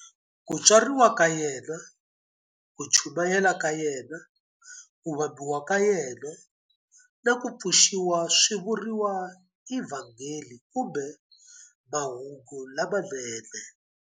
Ku tswariwa ka yena, ku chumayela ka yena, ku vambiwa ka yena, na ku pfuxiwa swi vuriwa eVhangeli kumbe Mahungu lamanene.